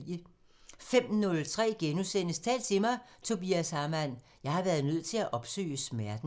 05:03: Tal til mig – Tobias Hamann: "Jeg har været nødt til at opsøge smerten" *